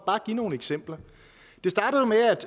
bare give nogle eksempler